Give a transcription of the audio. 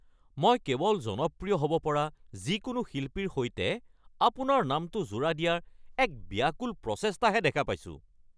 মই কেৱল জনপ্ৰিয় হ'ব পৰা যিকোনো শিল্পীৰ সৈতে আপোনাৰ নামটো জোৰা দিয়াৰ এক ব্যাকুল প্ৰচেষ্টাহে দেখা পাইছোঁ।